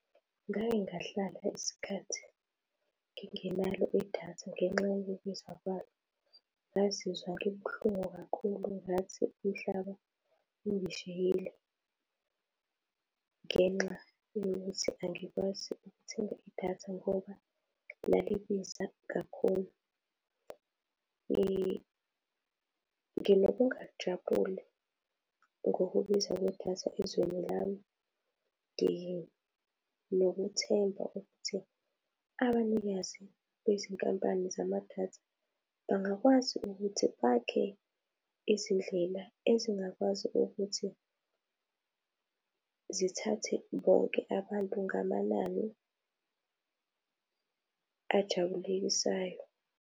Ngake ngahlala isikhathi ngingenalo idatha ngenxa yokubiza kwalo. Ngazizwa ngibuhlungu kakhulu ngathi umhlaba ungishiyile ngenxa yokuthi angikwazi ukuthenga idatha ngoba lalibiza kakhulu. Nginokungajabuli ngokubiza kwedatha ezweni lami. Nginokuthemba ukuthi abanikazi bezinkampani zamadatha bangakwazi ukuthi bakhe izindlela ezingakwazi ukuthi zithathe bonke abantu ngamanani ajabulisayo.